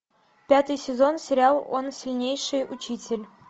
пятый сезон сериал он сильнейший учитель